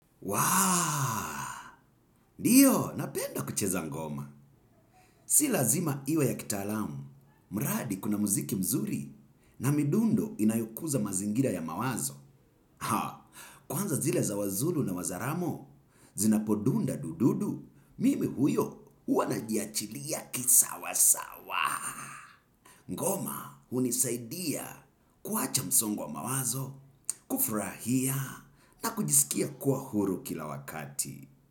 Ndio, napenda kucheza ngoma. Si lazima iwe ya kitalamu. Mradi kuna muziki mzuri na midundo inayokuza mazingira ya mawazo. Kwanza zile za wazulu na wazaramo, zinapodunda dududu, mimi huyo huwa najiachilia kisawa sawa. Ngoma, hunisaidia kuwacha msongo wa mawazo, kufurahia na kujisikia kuwa huru kila wakati.